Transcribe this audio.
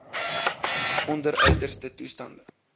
onder uiterste toestande